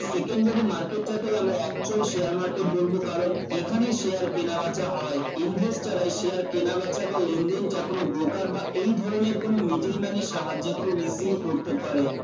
secondary market টাকেই আমরা actual share market বলবো কারণ এখানে share কেনা বেচা হয় investor রায় share কেনা বেচা বা লেনদেন যা কোন broker বা এই ধরনের কোন middle man এর সাহায্যে খুব easily করতে পারে